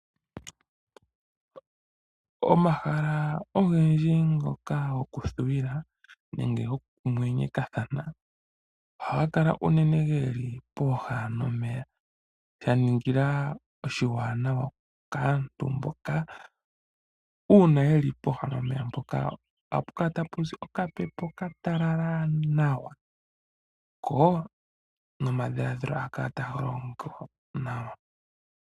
Omahala ogendji ngoka goku thuwila nenge goku mwenyekathana ohaga keli geli uunene pooha nomeya, shaningilwa oshiwaanawa kaantu mboka uuna yeli pooha nomeya mpoka ohapu kala tapu zi okapepo okatalaala nawa, ko nomadhiladhilo ohaga kala taga longo nawa.